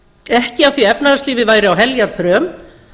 ekki af því að efnahagslífið væri á heljarþröm